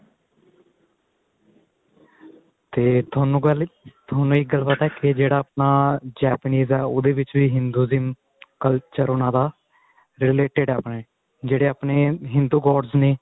ਤੇ ਤੁਹਾਨੂੰ ਗੱਲ ਤੁਹਾਨੂੰ ਇੱਕ ਗੱਲ ਪਤਾ ਕੀ ਜਿਹੜਾ ਆਪਣਾ Japanese ਏ ਉਹਦੇ ਵਿੱਚ ਵੀ ਉਹਦੇ ਵਿੱਚ ਵੀ Hinduism culture ਉਹਨਾ ਦਾ related ਏ ਆਪਣੇ ਜਿਹੜੇ ਆਪਣੇ ਹਿੰਦੂ gods ਨੇ